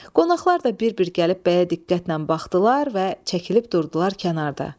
Qonaqlar da bir-bir gəlib bəyə diqqətlə baxdılar və çəkilib durdular kənarda.